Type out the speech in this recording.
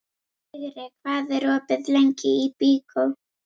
Vigri, hvað er opið lengi í Byko?